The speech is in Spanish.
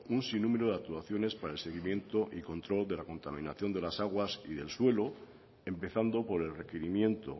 un sinnúmero de actuaciones para el seguimiento y control de la contaminación de las aguas y el suelo empezando por el requerimiento